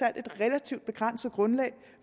er et relativt begrænset grundlag